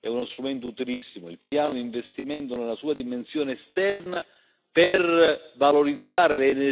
è uno strumento utilissimo il piano di investimento nella sua dimensione esterna per valorizzare le energie migliori che ci sono in Africa.